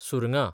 सुरगां